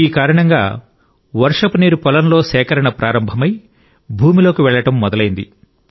ఈ కారణంగా వర్షపు నీరు పొలంలో సేకరణ ప్రారంభమై భూమిలోకి వెళ్ళడం మొదలైంది